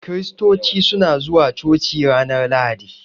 Kiristoci suna zuwa coci ranar lahadi.